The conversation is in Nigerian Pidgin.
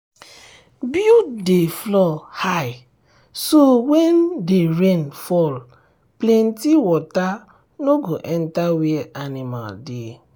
build the floor high so when dey rain fall plenty water no go enter where animal dey.